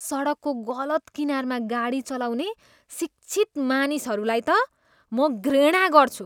सडकको गलत किनारमा गाडी चलाउने शिक्षित मानिसहरूलाई त म घृणा गर्छु।